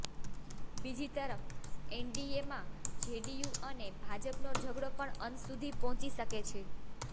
બીજી તરફ એનડીએમાં જેડીયુ અને ભાજપનો ઝઘડો પણ અંત સુધી પહોંચી શકે છે